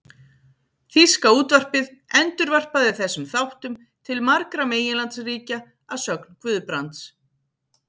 Þýska útvarpið endurvarpaði þessum þáttum til margra meginlandsríkja að sögn Guðbrands.